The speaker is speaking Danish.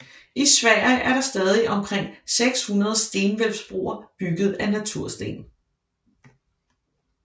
I Sverige er der stadig omkring 600 stenhvælvsbroer bygget af natursten